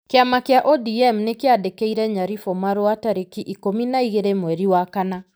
Kĩama kĩa ODM nĩ kĩandĩkĩire Nyaribo marũa tarĩki ikũmi na igĩrĩ mweri wa kana.